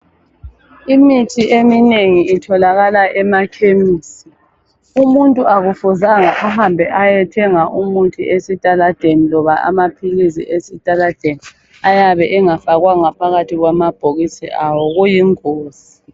Imithi eminengi itholakala emakhemisi. Umuntu akufuzanga ahambe ayethenga umuthi esitaladeni loba amaphilisi esitaladeni ayabe engafakwanga phakathi kwamabhokisi awo kuyingozi.